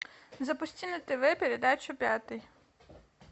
запусти на тв передачу пятый